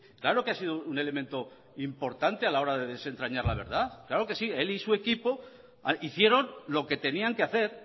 claro que ha sido un elemento importante a la hora de desentrañar la verdad claro que sí él y su equipo hicieron lo que tenían que hacer